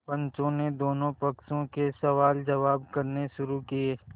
पंचों ने दोनों पक्षों से सवालजवाब करने शुरू किये